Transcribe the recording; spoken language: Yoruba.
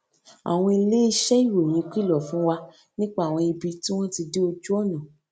àwọn iléeṣé ìròyìn kìlò fún wa nípa àwọn ibi tí wón ti dí ojú ònà